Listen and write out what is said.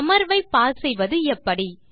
அமர்வை பாஸ் செய்வது எப்படி